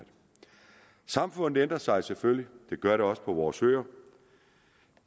samfundet ændrer sig selvfølgelig det gør det også på vores øer